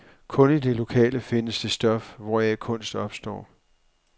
Kun i det lokale findes det stof, hvoraf kunst opstår.